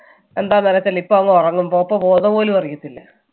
എന്താണെന്ന് അറിയത്തില്ല ഇപ്പൊ അങ്ങ് ഉറങ്ങും പോപ്പോ പോകുന്നത് പോലും അറിയത്തില്ല.